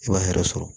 I b'a hɛrɛ sɔrɔ